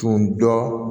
Tun dɔn